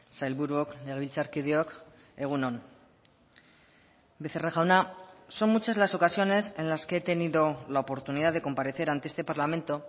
sailburuok legebiltzarkideok egun on becerra jauna son muchas las ocasiones en las que he tenido la oportunidad de comparecer ante este parlamento